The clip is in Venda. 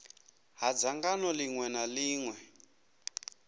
ha dzangano ḽiṅwe na ḽiṅwe